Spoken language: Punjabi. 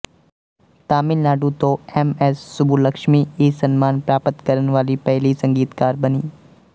ਤਾਮਿਲਨਾਡੂ ਤੋਂ ਐਮਐਸ ਸੁਬੁਲਕਸ਼ਮੀ ਇਹ ਸਨਮਾਨ ਪ੍ਰਾਪਤ ਕਰਨ ਵਾਲੀ ਪਹਿਲੀ ਸੰਗੀਤਕਾਰ ਬਣੀ